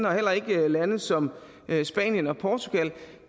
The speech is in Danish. og heller ikke lande som spanien og portugal